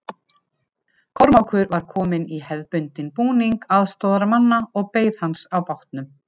Kormákur var kominn í hefðbundinn búning aðstoðarmanna og beið hans á bátnum.